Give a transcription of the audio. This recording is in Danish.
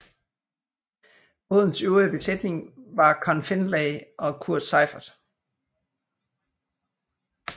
Bådens øvrige besætning var Conn Findlay og Kurt Seiffert